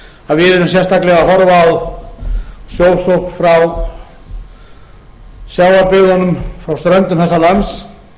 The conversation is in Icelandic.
að við erum sérstaklega að horfa á sjósókn frá sjávarbyggðunum á ströndum þessa lands